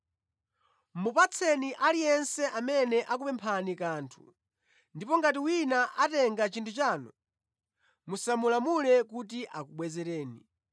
Mupatseni aliyense amene akupemphani kanthu ndipo ngati wina atenga chinthu chanu, musamulamule kuti akubwezereni.